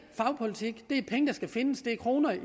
fagpolitik det er penge der skal findes det er kroner i